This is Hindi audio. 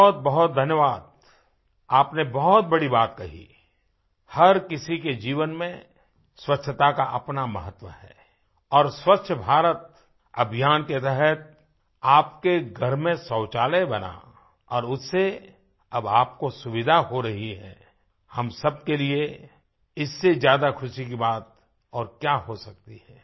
बहुतबहुत धन्यवाद आपने बहुत बड़ी बात कही हर किसी के जीवन में स्वच्छता का अपना महत्व है और स्वच्छ भारत अभियान के तहत आपके घर में शौचालय बना और उससे अब आपको सुविधा हो रही है हम सब के लिए इससे ज्यादा ख़ुशी की बात और क्या हो सकती है